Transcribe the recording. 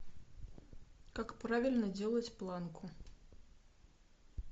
как правильно делать планку